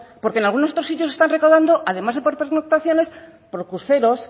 porque en algunos otros sitios están recaudando además de por pernoctaciones por cruceros